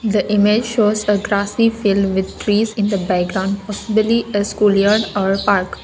the image shows the grocessary fill with trees in the background prohibily as a school or park.